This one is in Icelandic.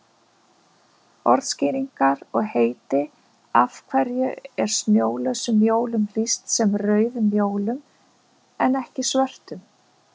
Orðskýringar og heiti Af hverju er snjólausum jólum lýst sem rauðum jólum en ekki svörtum?